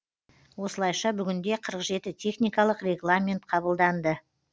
осылайша бүгінде қырық жеті техникалық регламент қабылданды